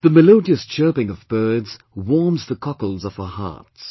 The melodious chirping of birds warms the cockles of our hearts